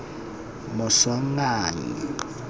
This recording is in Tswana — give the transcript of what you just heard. moswanganyi